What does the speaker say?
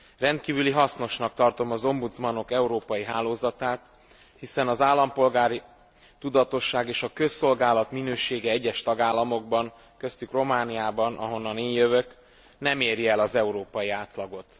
Rendkívüli hasznosnak tartom az ombudsmanok európai hálózatát, hiszen az állampolgári tudatosság és a közszolgálat minősége egyes tagállamokban, köztük Romániában, ahonnan én jövök, nem éri el az európai átlagot.